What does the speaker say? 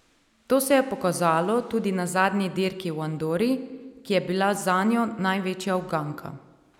To se je pokazalo tudi na zadnji dirki v Andori, ki je bila zanjo največja uganka.